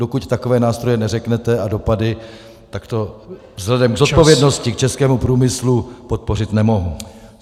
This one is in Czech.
Dokud takové nástroje neřeknete, a dopady, tak to vzhledem k zodpovědnosti k českému průmyslu podpořit nemohu.